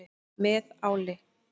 Með áli.